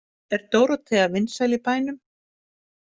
Er Dórótea vinsæl í bænum?